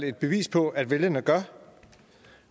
et bevis på at vælgerne gør